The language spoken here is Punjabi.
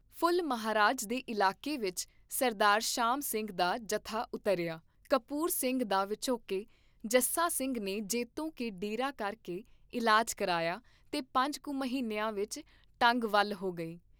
ਫੂਲ ਮਹਾਰਾਜ ਦੇ ਇਲਾਕੇ ਵਿਚ ਸਰਦਾਰ ਸ਼ਾਮ ਸਿੰਘ ਦਾ ਜੱਥਾ ਉਤਰਿਆ, ਕਪੂਰ ਸਿੰਘ ਦਾ ਵਿਝੋਕੇ ਜੱਸਾ ਸਿੰਘ ਨੇ ਜੈਤੋਂ ਕੇ ਡੇਰਾ ਕਰਕੇ ਇਲਾਜ ਕਰਾਇਆ ਤੇ ਪੰਜ ਕੁ ਮਹੀਨਿਆਂ ਵਿਚ ਟੰਗ ਵਲ ਹੋ ਗਈ।